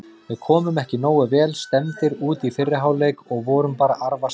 Við komum ekki nógu vel stemmdir út í fyrri hálfleik og vorum bara arfaslakir.